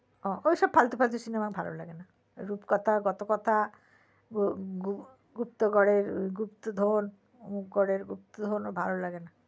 ও ঐসব ফালতু ফালতু সিনেমা ভালো লাগে না রূপকথা কতকথা গুপ্তগরের গুপ্তধন ও ভালো লাগে না